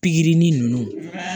Pikiri ni ninnu